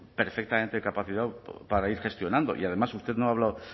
perfectamente capacitado para ir gestionando y además usted no ha hablado